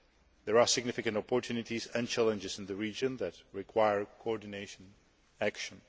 There are significant opportunities and challenges in the region that require coordinated action.